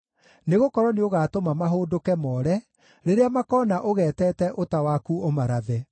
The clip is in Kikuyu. nĩgũkorwo nĩũgatũma mahũndũke moore rĩrĩa makoona ũgeetete ũta waku ũmarathe.